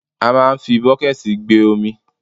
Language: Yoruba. A máà ń fi bọ́kẹ̀ẹ̀tì gbé omi.